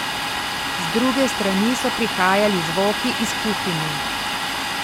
Z druge strani so prihajali zvoki iz kuhinje.